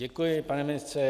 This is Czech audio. Děkuji, pane ministře.